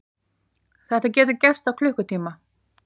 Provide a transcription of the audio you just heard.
Þetta getur gerst á klukkutíma.